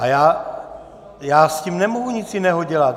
A já s tím nemohu nic jiného dělat.